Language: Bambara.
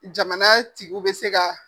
Jamana tigiw bɛ se ka